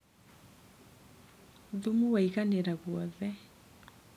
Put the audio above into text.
Thumu waiganĩra guothe.